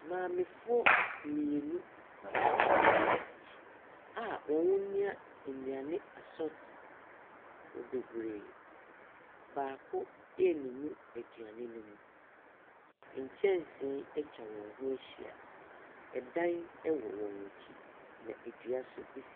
Maamefoɔ mmienu a wɔn nwea nnuane asɔt bebree. Baako eennunu aduane no mu. Nkyɛnsee atwa wɔn ho ahyia, ɛdan ɛwɔ wɔn akyi, na edua so esi .